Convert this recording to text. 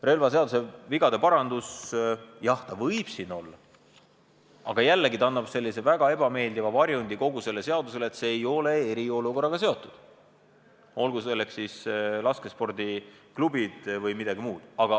Relvaseaduse vigade parandus – jah, see võib siin olla, aga jällegi, see annab kogu eelnõule väga ebameeldiva varjundi, see ei ole eriolukorraga seotud, olgu tegemist laskespordiklubide või millegi muuga.